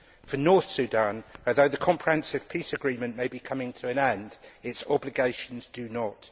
for North Sudan, although the comprehensive peace agreement may be coming to an end, its obligations do not.